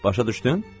Başa düşdün?